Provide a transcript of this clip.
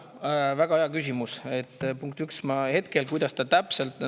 Väga hea küsimus.